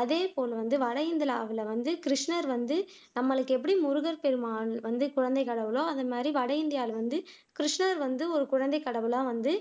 அதேபோல் வட இந்தியாவுல வந்து கிருஷ்ணர் வந்து நம்மளுக்கு எப்படி முருகப்பெருமான் வந்து குழந்தை கடவுளோ அந்த மாதிரி வட இந்தியாவுல வந்து கிருஷ்ணர் வந்து ஒரு குழந்தைக்கடவுளா வந்து